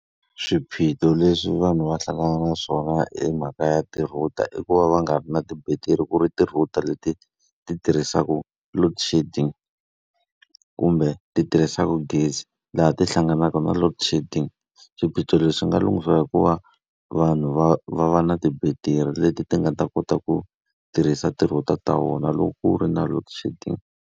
Swiphiqo leswi vanhu va hlangana na swona e mhaka ya ti-router i ku va va nga ri na tibetiri. Ku ri ti-router leti ti tirhisaka loadshedding, kumbe ti tirhisaka gezi, laha ti hlanganaka na loadshedding. Swiphiqo leswi nga lunghisiwa hi ku va vanhu va va va na tibetiri leti ti nga ta kota ku tirhisa ti-router ta vona loko ku ri na loadshedding.